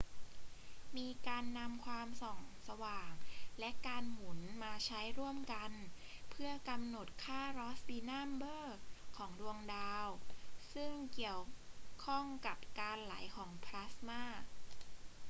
มีการนำความส่องสว่างและการหมุนมาใช้ร่วมกันเพื่อกำหนดค่ารอสส์บีนัมเบอร์ของดวงดาว ซึ่งเกี่ยวข้องกับการไหลของพลาสมา